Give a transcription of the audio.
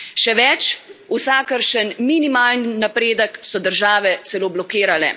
Še več, vsakršen minimalni napredek so države celo blokirale.